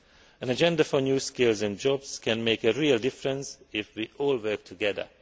An agenda for new skills and jobs can make a real difference if we all work together.